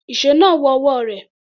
Ìṣó náà wọ ọwọ́ rẹ̀.